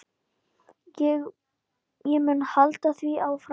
Ég mun halda því áfram.